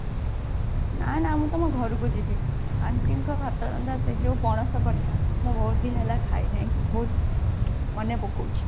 ନା ନା ମୁଁ ତମ ଘରକୁ ଯିବି aunty ଙ୍କ ହାତ ରନ୍ଧା ସେ ଯୋଉ ପଣସ କଠା ବହୁତ ଦିନ ହେଲା ଖାଇ ନାହିଁ ବହୁତ ମନେ ପକୋଉଛି